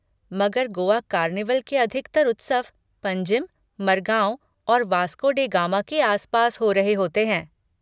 मगर गोआ कार्निवल के अधिकतर उत्सव पंजिम, मरगाओ और वास्को डे गामा के आसपास हो रहे होते हैं।